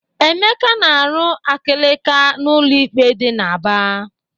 Emeka na-arụ akịlakị n'ụlọ ikpe dị n'Aba.